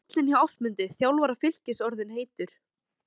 Er stóllinn hjá Ásmundi, þjálfara Fylkis orðinn heitur?